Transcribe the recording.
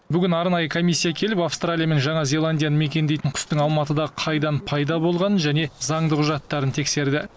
бүгін арнайы комиссия келіп аустралия мен жаңа зеландияны мекендейтін құстың алматыда қайдан пайда болғанын және заңды құжаттарын тексерді